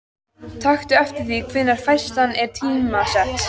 Taktu eftir því hvenær færslan er tímasett.